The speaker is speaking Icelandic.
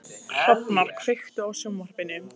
Hrafnar, kveiktu á sjónvarpinu.